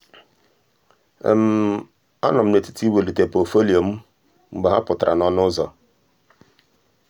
a nọ m n'etiti imelite pọtụfoliyo m mgbe ha pụtara n'ọnụ ụzọ.